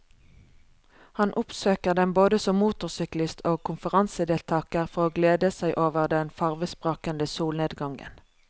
Han oppsøker den både som motorsyklist og konferansedeltager for å glede seg over den farvesprakende solnedgangen.